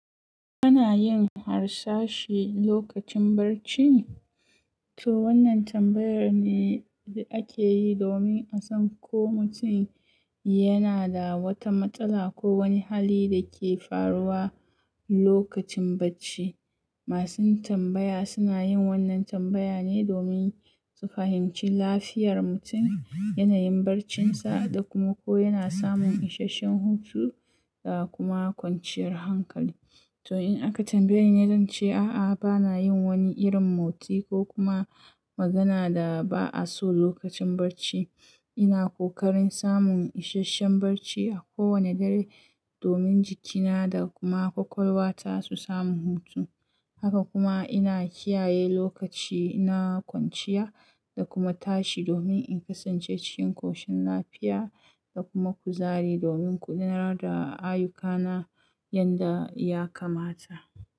Kana yin harsashi lokacin barci? To wannan tambayar ne da ake yi domin a san ko mutum yana da wata matsala ko wani hali da ke faruwa lokacin barci. Masuyin tambaya suna yin wannan tambaya ne domin su fahimci lafiyar mutum, yanayin barcinsa, da kuma ko yana samun isasshen hutu da kuma kwanciyar hankali. To in aka tambaye ni, zan ce a'a, bana yin wani irin motsi ko kuma magana da ba'a so lokacin barci. Ina kokarin samun isasshen barci a kowani dare domin jikina da kuma ƙwaƙwalwa ta su samu hutu. Haka kuma ina kiyaye lokaci na kwanciya da kuma tashi domin in kasance cikin ƙoshin lafiya da kuma kuzari domin guda nar da ayyukana yanda ya kamata.